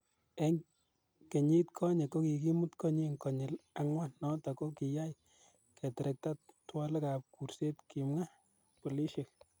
En kenyit konye, ko kikibut konyin konyil angwan, noton ko kiyai keterekta twolegab kuurset, Kimwa Polisiek.